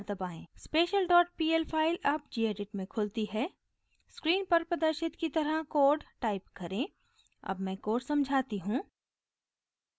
special dot pl file अब gedit में खुलती है स्क्रीन पर प्रदर्शित की तरह कोड टाइप करें अब मैं कोड समझाती हूँ